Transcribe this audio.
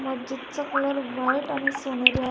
मस्जितचा colour white आणि सोनेरी आहे.